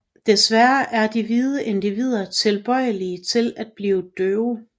Desværre er de hvide individer tilbøjelige til at blive døve